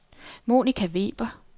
Monica Weber